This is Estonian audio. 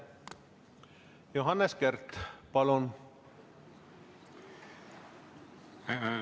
Johannes Kert, palun!